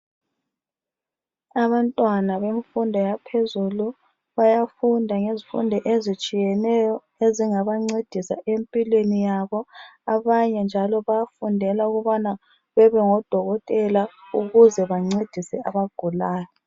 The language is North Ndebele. Abantwana bemfundo yaphezulu bayafunda ngezifundo ezitshiyeneyo ezingaba ncedisa empilweni yabo. Abanye njalo bayafundela ukubana babe ngo dokotela ukuze bancedise abagulayo.